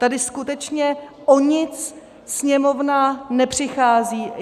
Tady skutečně o nic Sněmovna nepřichází.